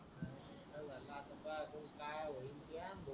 काय काय होईल क्या